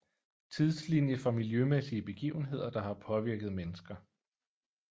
Tidslinie for miljømæssige begivenheder der har påvirket mennesker